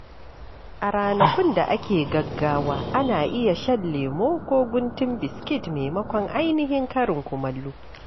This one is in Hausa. A ranakun da ake da gaggawa, ana iya shan lemo ko guntun biskit maimakon ainihin karin kumallo.